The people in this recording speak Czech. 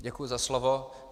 Děkuji za slovo.